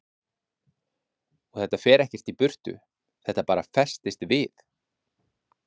Kristján Már Unnarsson: Og þetta fer ekkert í burtu, þetta bara festist við?